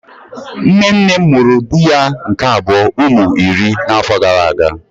Nne nne m mụrụ di ya nke abuo ụmụ iri na afọ gara aga.